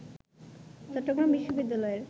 চট্টগ্রাম বিশ্ববিদ্যালয়ের